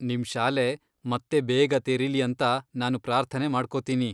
ನಿಮ್ ಶಾಲೆ ಮತ್ತೆ ಬೇಗ ತೆರೀಲಿ ಅಂತ ನಾನು ಪ್ರಾರ್ಥನೆ ಮಾಡ್ಕೋತೀನಿ.